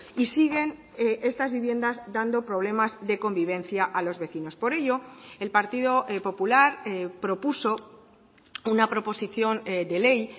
y siguen estas viviendas dando problemas de convivencia a los vecinos por ello el partido popular propuso una proposición de ley